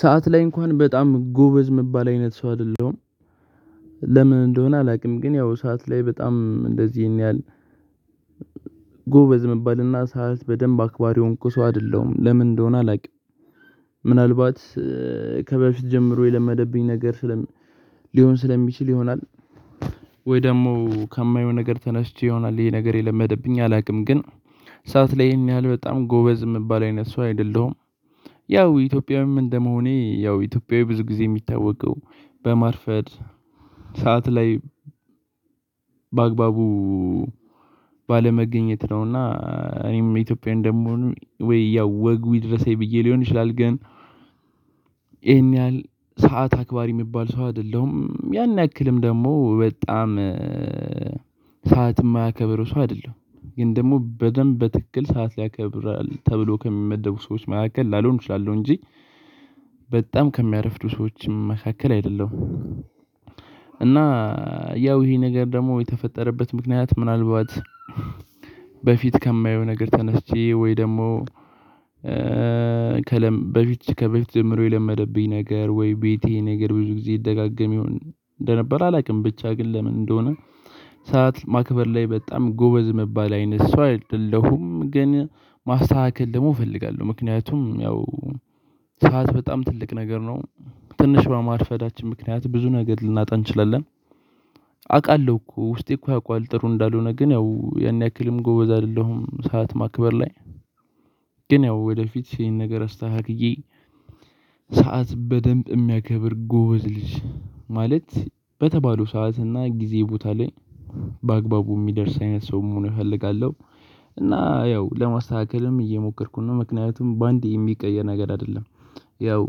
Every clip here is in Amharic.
ሰዓት ላይ እንኳን በጣም ጎበዝ እምባል አይነት ሰው አይደለሁም። ለምን እንደሆነ አላውቅም ግን ያው ሰዓት ላይ በጣም እንደዚህ ይሄን ያህል ጎበዝ የሚባልና ሰዓት በደንብ አክባሪውን እኮ ሰው አይደለም ለምን እንደሆነ አላውቅም። ምናልባት ከበፊት ጀምሮ የለመደብኝ ነገር ስለሚ ሊሆን ስለሚችል ይሆናል። ወይ ደግሞ ከማየው ነገር ተነስቼ ይሆናል ይሄ ነገር የለመደብኝ አላውቅም ግን ሰዓት ላይ ይሄን ያህል በጣም ጎበዝ የምባለው አይነት ሰው አይደለሁም። ያው ኢትዮጵያዊም እንደመሆኔ ያው ኢትዮጵያዊ ብዙ ጊዜ የሚታወቀው በማርፈድ ሰዓት ላይ በአግባቡ ባለመገኘት ነውና። እኔም ኢትዮጵያዊ እንደምሆን ወይ ያው ወጉ ይድረሰኝ ብዬ ሊሆን ይችላል። ግን ይሄን ያህል ሰዓት አክባሪ የሚባል ሰው አይደለሁም ያን ያክልም ደግሞ በጣም ሰዓት የማያከብር ሰው አይደለሁም። ግን ደግሞ በደንብ በትክክል ሰዓት ያከብራል ተብሎ ከሚመደቡ ሰዎች መካከል ላልሆን እችላለሁ እንጂ በጣም ከሚያረፍዱ ሰዎችም መካከል አይደለም። እና ያው ይሄ ነገር ደግሞ የተፈጠረበት ምክንያት ምናልባት በፊት ከማየው ነገር ተነስቼ ወይ ደግሞ ከለ ከበፊት ከበፊት ዘምሮ የለመደብኝ ነገር ወይ ቤቴ ነገር ብዙ ጊዜ ይደጋገም ይሁን እንደነበር አላውቅም። ብቻ ግን ለምን እንደሆነ ሰዓት ማክበር ላይ በጣም ጎበዝ የሚባል አይነት ሰው አይደለሁም። ግን ማስተካከል ደግሞ እፈልጋለሁ ምክንያቱም ያው ሰዓት በጣም ትልቅ ነገር ነው ትንሽ በማርፈዳችን ምክንያት ብዙ ነገር ልናጣ እንችላለን። አውቃለሁ እኮ ውስጤ እኮ ያውቀዋል ጥሩ እንዳልሆነ ግን ያው ያን ያክልም ጎበዝ አይደለሁም ሰዓት ማክበር ላይ። ግን ያው ወደፊት ይሄን ነገር አስተካክዬ ሰዓት በደንብ የሚያከብር ጎበዝ ልጅ ማለት በተባለው ሰዓት እና ጊዜ ቦታ ላይ በአግባቡ የሚደርስ አይነት ሰው መሆኑ ይፈልጋለሁ። እና ያው ለማስተካከልም እየሞከርኩኝ ነው ምክንያቱም በአንዴ የሚቀየር ነገር አይደለም። ያው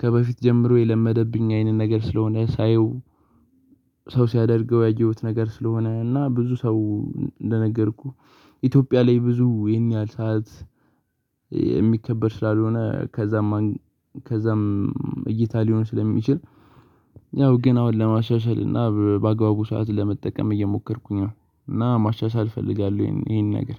ከበፊት ጀምሮ የለመደብኝ አይነት ነገር ስለሆነ ሳየው ሰው ሲያደርገው ያገኘሁት ነገር ስለሆነ እና ብዙ ሰው እንደነገርኩህ ኢትዮጵያ ላይ ብዙ ይሄን ያህል ሰዓት። ስራ ሊሆን ከዛም ከዛም እይታ ሊሆን ስለሚችል ያው ግን አሁን ለማሻሻል እና በአግባቡ ሰዓት ለመጠቀም እየሞከርኩኝ ነው። እና ማሻሻል እፈልጋለሁ ይሄን ነገር